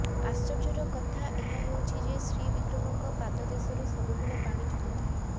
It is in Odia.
ଆଶ୍ଚର୍ଯ୍ୟର କଥା ଏହା ହେଉଛି ଯେ ଶ୍ରୀ ବିଗ୍ରହଙ୍କ ପାଦଦେଶରୁ ସବୁବେଳେ ପାଣି ଝରୁଥାଏ